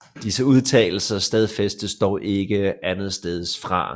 Disse udtalelser stadfæstes dog ikke andensteds fra